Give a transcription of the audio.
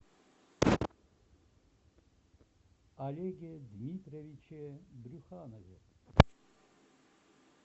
олеге дмитриевиче брюханове